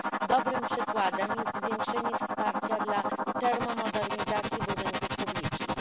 Dobrym przykładem jest zwiększenie wsparcia dla termomodernizacji budynków publicznych.